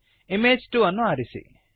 image 2 ಅನ್ನು ಆರಿಸಿ